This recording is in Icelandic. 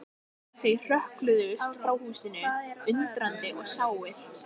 Þeir hrökkluðust frá húsinu, undrandi og sárir.